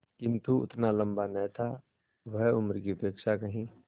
किंतु उतना लंबा न था वह उम्र की अपेक्षा कहीं